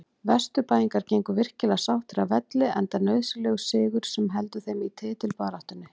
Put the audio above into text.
Vesturbæingar gengu virkilega sáttir af velli enda nauðsynlegur sigur sem heldur þeim í titilbaráttunni.